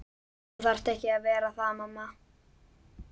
Þú þarft ekki að vera það mamma.